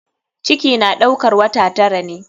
Ciki na ɗaukar wata tara ne.